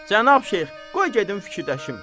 Cənab Şeyx, qoy gedim fikirləşim.